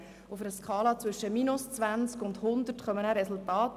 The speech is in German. Die Resultate liegen auf einer Skala zwischen -20 und 100.